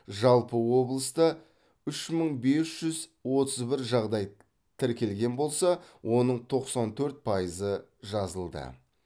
жалпы облыста үш мың бес жүз отыз бір жағдай тіркелген болса оның тоқсан төрт пайызы жазылды